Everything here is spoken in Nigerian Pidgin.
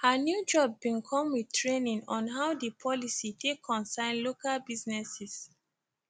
her new job bin come with training on how di policy take concern local businesses